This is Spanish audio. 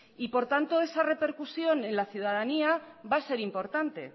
y por tanto esa repercusión en la ciudadanía va a ser importante